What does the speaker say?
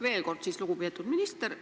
Veel kord, lugupeetud minister!